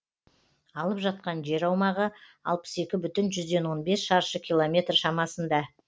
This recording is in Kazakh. алып жатқан жер аумағы алпыс екі бүтін жүзден он бес шаршы километр шамасында